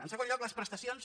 en segon lloc les prestacions